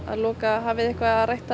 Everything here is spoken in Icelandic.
loka hafið þið eitthvað rætt